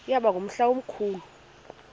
yaba ngumhla omkhulu